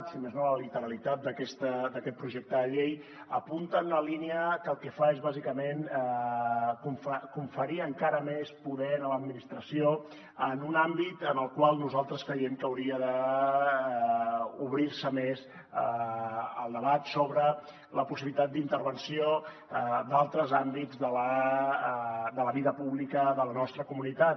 si més no la literalitat d’aquest projecte de llei apunta una línia que el que fa és bàsicament conferir encara més poder a l’administració en un àmbit en el qual nosaltres creiem que hauria d’obrir se més el debat sobre la possibilitat d’intervenció d’altres àm bits de la vida pública de la nostra comunitat